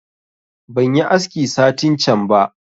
Ban yi aski satin can ba